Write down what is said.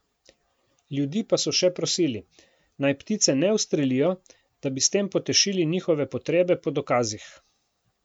Ljudi pa so še prosili, naj ptice ne ustrelijo, da bi s tem potešili njihove potrebe po dokazih.